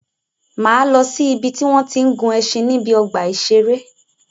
Máa lọ si ìbi tí wọ́n tí ń gun ẹṣin níbi ọgbà ìṣẹ̀rẹ́.